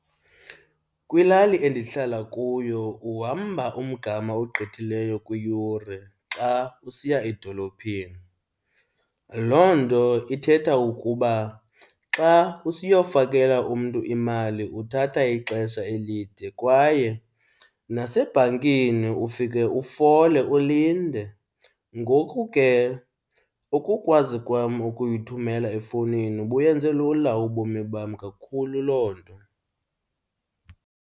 Kwilali endihlala kuyo uhamba umgama ogqithileyo kwiyure xa usiya edolophini. Loo nto ithetha ukuba xa usiyofakela umntu imali uthatha ixesha elide kwaye nasebhankini ufike ufole ulinde. Ngoku ke ukukwazi kwam ukuyithumela efowunini buyenze lula ubomi bam kakhulu loo nto.